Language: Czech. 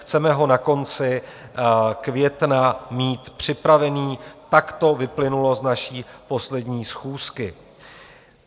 Chceme ho na konci května mít připravený, tak to vyplynulo z naší poslední schůzky.